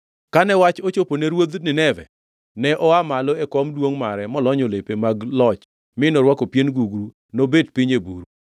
Kane wach ochopo ne ruodh Nineve, ne oa malo e kom duongʼ mare molonyo lepe mag loch mi norwako pien gugru nobet piny e buru.